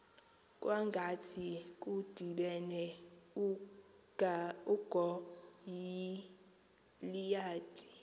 kwangathi kudibene ugoliyathi